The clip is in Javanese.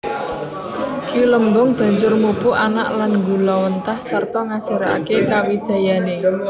Ki Lembong banjur mupu anak lan nggulawentah sarta ngajaraké kawijayané